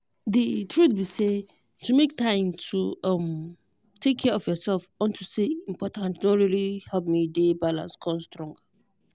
the truth be say to make time to um take care of yourself unto say e good don really help me dey balance con strong